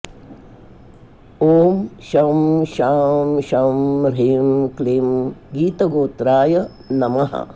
ॐ शं शां षं ह्रीं क्लीं गीतगोत्राय नमः